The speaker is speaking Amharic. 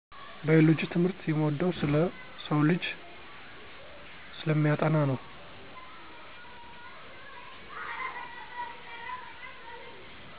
ባዮሎጂ ትምህርት የምወደው ስለ ሰውልጂ ስለሚያጠና ነው።